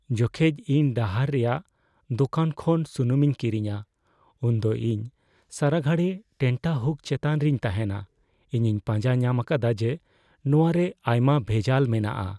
ᱡᱚᱠᱷᱮᱡ ᱤᱧ ᱰᱟᱦᱟᱨ ᱨᱮᱭᱟᱜ ᱫᱚᱠᱟᱱ ᱠᱷᱚᱱ ᱥᱩᱱᱩᱢᱤᱧ ᱠᱤᱨᱤᱧᱟ ᱩᱱ ᱫᱚ ᱤᱧ ᱥᱟᱨᱟᱜᱷᱟᱲᱤ ᱴᱮᱱᱴᱟᱦᱩᱠ ᱪᱮᱛᱟᱱ ᱨᱤᱧ ᱛᱟᱦᱮᱱᱟ ᱾ ᱤᱧᱤᱧ ᱯᱟᱸᱡᱟ ᱧᱟᱢ ᱟᱠᱟᱫᱟ ᱡᱮ ᱱᱚᱣᱟ ᱨᱮ ᱟᱭᱢᱟ ᱵᱷᱮᱡᱟᱞ ᱢᱮᱱᱟᱜᱼᱟ ᱾